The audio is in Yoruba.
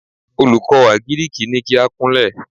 Olùkọ́ àgíríkì ní kí á kúnlẹ̀!